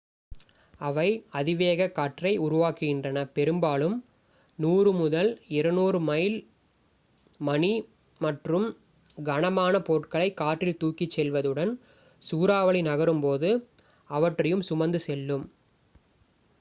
அவை அதிவேகக் காற்றை உருவாக்குகின்றன பெரும்பாலும் 100-200 மைல்/மணி மற்றும் கனமான பொருட்களைக் காற்றில் தூக்கிச் செல்வதுடன் சூறாவளி நகரும்போது அவற்றையும் சுமந்து செல்லும்